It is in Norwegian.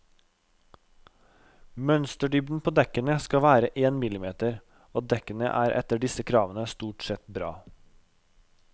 Mønsterdybden på dekkene skal være en millimeter, og dekkene er etter disse kravene stort sett bra.